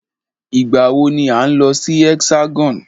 Ìgbà wọ ni à ń lọ sí Hexagon?